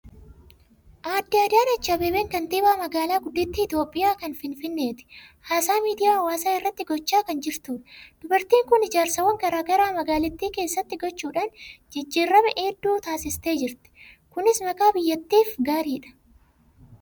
Aadde Adaanechi Abbabeen kantiibaa magaalaa guddittii Itoophiyaa, kan Finfinneeti. Haasaa miidiyaa hawaasaa irratti gochaa kan jirtudha. Dubartiin kun ijaarsaawwan garaa garaa magaalittii keessatti gochuudhaan jijjiirama hedduu taasistee jirti. Kunis maqaa biyyattiif gaariidha.